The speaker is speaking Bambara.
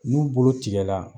N'u bolo tigɛ la